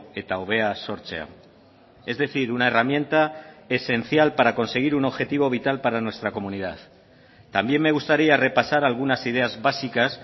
eta hobea sortzea es decir una herramienta esencial para conseguir un objetivo vital para nuestra comunidad también me gustaría repasar algunas ideas básicas